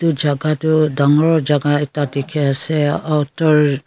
edu jaga toh dangor jaka ekta dikhiase autor--